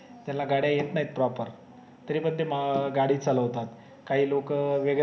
ज्याला गाड्या येत नाही proper तरी पण ते हम्म गाडी चालवतात काही लोक अह वेगळ्या